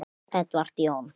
Edward Jón.